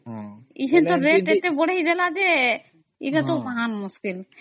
ଏବେ ତା rate ଏତେ ବଢ଼େଇ ଦେଲା ଯେ ଏଟା ତ ମହା ମୁସକିଲ